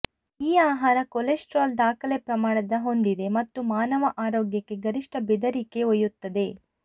ಈ ಆಹಾರ ಕೊಲೆಸ್ಟರಾಲ್ ದಾಖಲೆ ಪ್ರಮಾಣದ ಹೊಂದಿದೆ ಮತ್ತು ಮಾನವ ಆರೋಗ್ಯಕ್ಕೆ ಗರಿಷ್ಠ ಬೆದರಿಕೆ ಒಯ್ಯುತ್ತದೆ